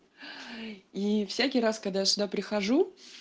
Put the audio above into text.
и всякий раз когда я сюда прихожу